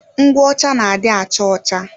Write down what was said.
Ngwụ ọcha na adị acha ọcha